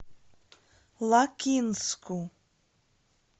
лакинску